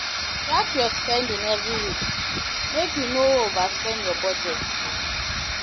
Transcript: Track your spending every week, make you no overspend your budget.